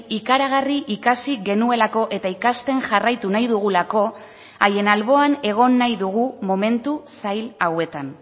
ikaragarri ikasi genuelako eta ikasten jarraitu nahi dugulako haien alboan egon nahi dugu momentu zail hauetan